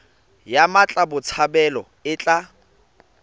ya mmatla botshabelo e tla